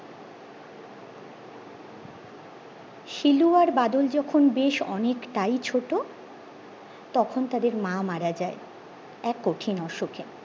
শিলু আর বাদল যখন বেশ অনেকটাই ছোট তখন তাদের মা মারা যায় এক কঠিন অসুখে